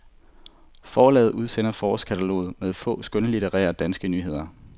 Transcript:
Forlaget udsender forårskatalog med få skønlitterære danske nyheder.